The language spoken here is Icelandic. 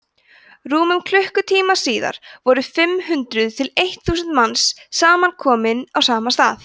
rúmum klukkutíma síðar voru fimm hundruð til eitt þúsund manns samankomin á sama stað